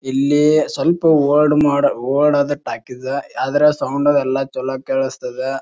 ಇಲ್ಲಿ ಸ್ವಲ್ಪ old mode old ಆದ ಟಾಕೀಸ್ ಆದ್ರೆ ಸೌಂಡ್ ಅದು ಚಲೋ ಆಗಿ ಕೇಳಿಸ್ತದ.